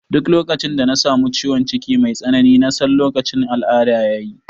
Duk lokacin da na samu ciwon ciki mai tsanani na san lokacin al'ada ya yi